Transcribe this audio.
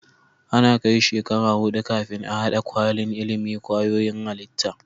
Ana Kai shekara hudu kafin a hada kwalin ilimin kwayoyin halitta